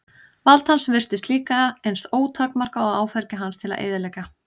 Vald hans virtist líka eins ótakmarkað og áfergja hans til að eyðileggja.